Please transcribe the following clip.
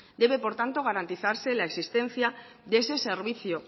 debe por tanto garantizarse la existencia de ese servicio